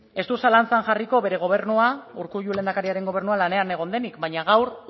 ez dut zalantzan jarriko bere gobernua urkullu lehendakariaren gobernua lanean egon denik baina gaur